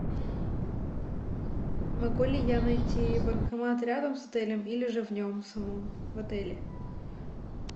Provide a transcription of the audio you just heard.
могу ли я найти банкомат рядом с отелем или же в нем самом в отеле